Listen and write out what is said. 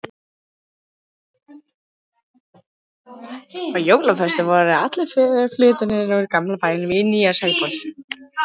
Á jólaföstu voru allar föggur fluttar úr gamla bænum í nýja Sæból.